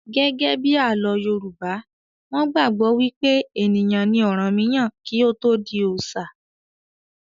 Gẹ́gẹ́bí àlọ́ Yorùbá, wọn gbàgbọ́ wí pé ènìyàn ni ọ̀rànmíyàn kí ó tó di oòṣà